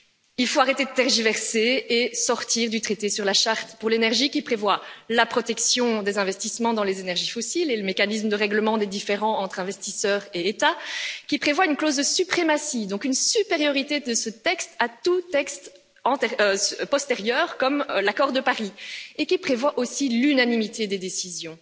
Il faut arrêter de tergiverser et sortir du traité sur la charte pour l'énergie, qui prévoit la protection des investissements dans les énergies fossiles et le mécanisme de règlement des différends entre investisseurs et États, qui prévoit également une clause de suprématie, donc une supériorité de ce texte sur tout texte postérieur, comme l'accord de Paris, et qui prévoit aussi l'unanimité des décisions